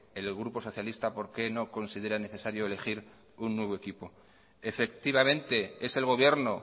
el grupo socialista por qué no consideran necesario elegir un nuevo equipo efectivamente es el gobierno